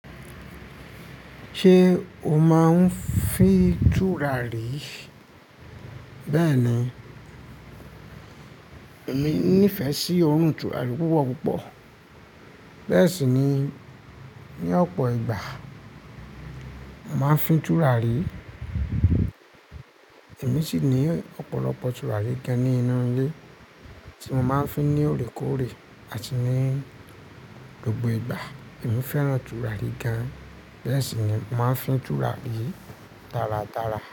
Ṣé o máa ń fín tùràrí? Bẹ́ẹ̀ni, èmi nífẹ̀ẹ́ sí òrùn tùràrí púpọ̀ púpọ̀. Bẹ́ẹ̀ sì ni, ní ọ̀pọ̀ ìgbà, màá ń fín tùràrí. Èmi sì ní ọ̀pọ̀lọpọ̀ tùràrí gan ní inú ilé tí mo máa ń fi ní òrékòórè àti ní gbogbo ìgbà. Èmi fẹ́ràn tùràrí gan, bẹ́ẹ̀ sì ni, màá ń fín tùràrí dáradára.